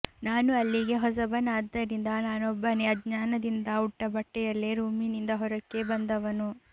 ನಾನು ಅಲ್ಲಿಗೆ ಹೊಸಬನಾದ್ದರಿಂದ ನಾನೊಬ್ಬನೇ ಅಜ್ಞಾನದಿಂದ ಉಟ್ಟಬಟ್ಟೆಯಲ್ಲಿ ರೂಮಿನಿಂದ ಹೊರಕ್ಕೆ ಬಂದವನು